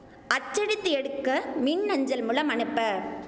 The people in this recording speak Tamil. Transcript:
அச்சடித்து எடுக்க மின் அஞ்சல் மூலம் அனுப்ப